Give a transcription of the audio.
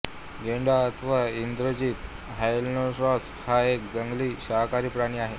गेंडा अथवा इंग्रजीत ऱ्हाईनोसेरॉस हा एक जंगली शाकाहारी प्राणी आहे